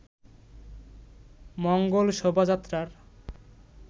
মঙ্গল শোভাযাত্রার